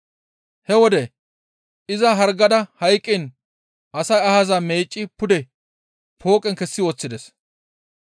He wode iza hargada hayqqiin asay ahaza meecci pude pooqen kessi woththides.